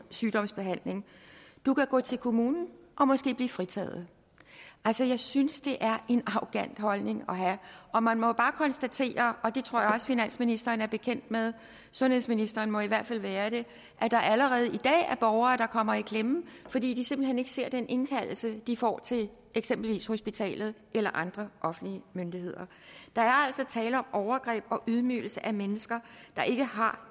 sygdomsbehandling du kan gå til kommunen og måske blive fritaget jeg synes det er en arrogant holdning at have og man må jo bare konstatere og det tror jeg også finansministeren er bekendt med sundhedsministeren må i hvert fald være det at der allerede i dag er borgere der kommer i klemme fordi de simpelt hen ikke ser den indkaldelse de får til eksempelvis hospitalet eller andre offentlige myndigheder der er altså tale om overgreb og ydmygelse af mennesker der ikke har